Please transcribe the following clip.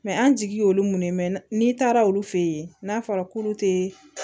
an jigi y'olu mun ye n'i taara olu fɛ yen n'a fɔra k'olu tɛ